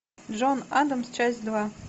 джон адамс часть два